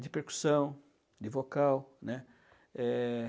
De percussão, de vocal, né? Eh...